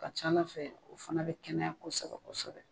Ka ca ala fɛ o fana bɛ kɛnɛya kosɛbɛ kosɛbɛ.